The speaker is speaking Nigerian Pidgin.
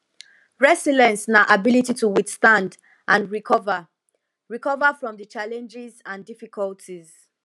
resilience na ability to withstand and recover recover from di challenges and difficulties